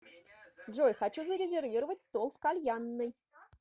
джой хочу зарезервировать стол в кальянной